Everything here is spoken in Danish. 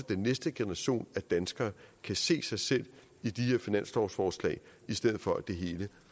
den næste generation danskere kan se sig selv i de her finanslovsforslag i stedet for at det hele